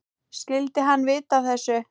Skyldi hann vita af þessu?